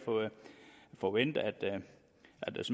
forvente at